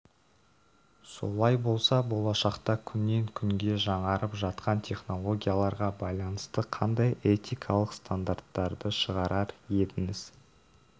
солай болса болашақта күннен күнге жаңарып жатқан технологияларға байланысты қандай этикалық стандарттарды шығарар едіңіз